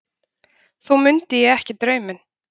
Þó mundi ég ekki drauminn.